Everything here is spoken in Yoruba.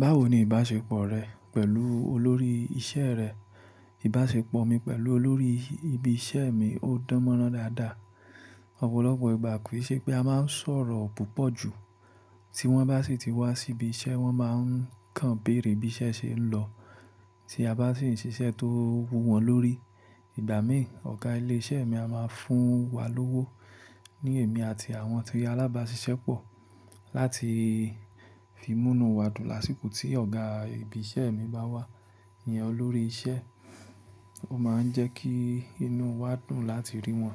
Báwo ni ìbáṣepọ̀ rẹ pẹ̀lú olórí ìṣe rẹ? Ìbáṣepọ̀ mi pẹ̀lú olórí ibi isẹ́ mi ó dáńmọ́nrán dáadáa. Ọ̀pọ̀lọpọ̀ ìgbà kì í ṣe pé a máa ń sọ̀rọ̀ púpọ̀ ju. Tí wọ́n bá sì ti wá sí ibi isẹ́, wọ́n máa ń kan béèrè bí isẹ́ ṣe ń lọ. Tí a bá sì ń ṣiṣẹ́ tó wú wọn lórí, ìgbà míì, ọ̀gá ilé iṣẹ́ mi a máa fún wa lówó ní èmi àti àwọn tí alábàáṣiṣẹ́ pọ̀ láti fi mú inú wa dùn lásìkò tí ọ̀gá ibi isẹ́ mi bá wà. Ìyẹn olórí isẹ́. Ó máa ń jẹ́ kí inú wa dùn láti rí wọn